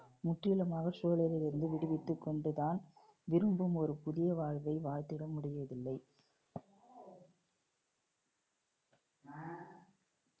முற்றிலுமாக சூழலிலிருந்து விடுவித்துக் கொண்டு தான் விரும்பும் ஒரு புதிய வாழ்வை வாழ்ந்திட முடியவில்லை.